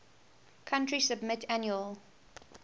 country submit annual